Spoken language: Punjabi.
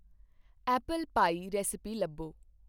ਐਪਲ ਪਾਈ ਰੈਸਿਪੀ ਲੱਭੋ।